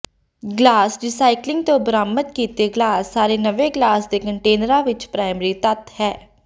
glass recycling ਤੋਂ ਬਰਾਮਦ ਕੀਤੇ ਗਲਾਸ ਸਾਰੇ ਨਵੇਂ ਗਲਾਸ ਦੇ ਕੰਟੇਨਰਾਂ ਵਿਚ ਪ੍ਰਾਇਮਰੀ ਤੱਤ ਹੈ